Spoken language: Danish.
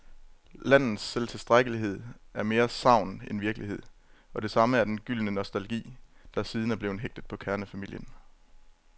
Landets selvtilstrækkelighed er mere sagn end virkelighed, og det samme er den gyldne nostalgi, der siden er blevet hægtet på kernefamilien.